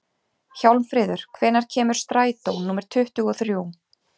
Hjálmfríður, hvenær kemur strætó númer tuttugu og þrjú?